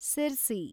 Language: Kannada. ಸಿರ್ಸಿ